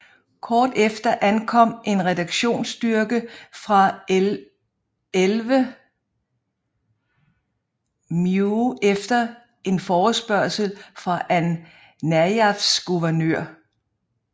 Kort efter ankom en reaktionsstyrke fra 11th MEU efter en forespørgsel fra An Najafs guvernør